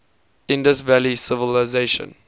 indus valley civilisation